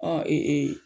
Ɔ